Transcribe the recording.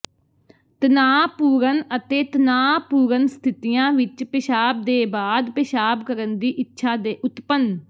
ਤਣਾਅਪੂਰਨ ਅਤੇ ਤਣਾਅਪੂਰਨ ਸਥਿਤੀਆਂ ਵਿੱਚ ਪੇਸ਼ਾਬ ਦੇ ਬਾਅਦ ਪਿਸ਼ਾਬ ਕਰਨ ਦੀ ਇੱਛਾ ਦੇ ਉਤਪੰਨ